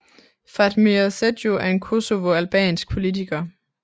Fatmir Sejdiu er en Kosovo albansk politiker